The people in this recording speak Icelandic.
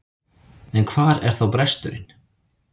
En hvar er þá bresturinn?